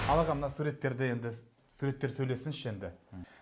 ал аға мына суреттерде енді суреттер сөйлесінші енді